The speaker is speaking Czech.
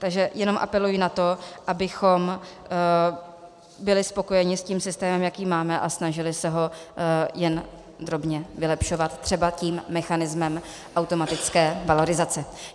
Takže jenom apeluji na to, abychom byli spokojeni s tím systémem, jaký máme, a snažili se ho jen drobně vylepšovat třeba tím mechanismem automatické valorizace.